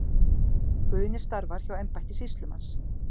Guðni starfar hjá embætti sýslumanns.